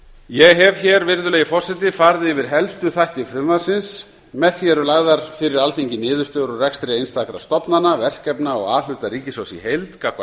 ég hef hér virðulegi forseti farið yfir helstu þætti frumvarpsins með því eru lagðar fyrir alþingi niðurstöður úr rekstri einstakra stofnana verkefna og a hluta ríkissjóðs í heild gagnvart